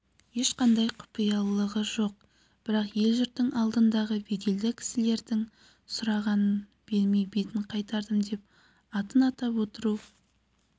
ешқандай құпиялығы жоқ бірақ ел-жұрттың алдындағы беделді кісілердің сұрағанын бермей бетін қайтардым деп атын атап отыру